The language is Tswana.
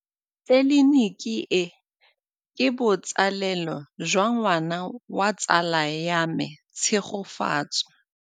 Tleliniki e, ke botsalêlô jwa ngwana wa tsala ya me Tshegofatso.